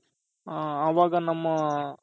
ಅವಾಗ ನಮ್ಮ